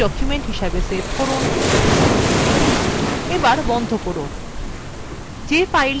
ms power point document হিসাবে save করুন এবার বন্ধ করুন